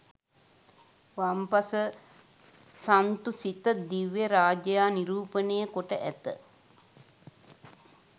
වම් පස සන්තුසිත දිව්‍යරාජයා නිරූපණය කොට ඇත